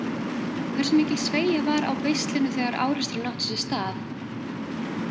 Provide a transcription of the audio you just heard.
Hversu mikil sveigja var á beislinu þegar áreksturinn átti sér stað?